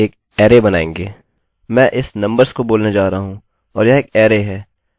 मैं इस नंबर्सnumbers को बोलने जा रहा हूँ और यह एक अरैarray है हमें अब इसे बनाना है